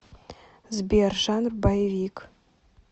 сбер жанр боевик